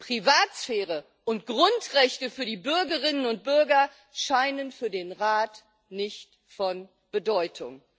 Privatsphäre und Grundrechte für die Bürgerinnen und Bürger scheinen für den Rat nicht von Bedeutung.